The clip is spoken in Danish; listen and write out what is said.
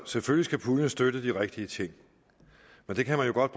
selvfølgelig skal puljen støtte de rigtige ting men det kan man jo godt